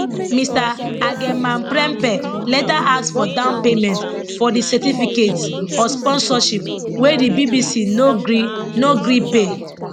mr agyemangprempeh later ask for downpayment for di certificates of sponsorship wey di bbc no gree no gree pay